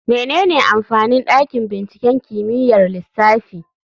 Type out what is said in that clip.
Menene amfanin dakin binciken kimiyyar lissafi?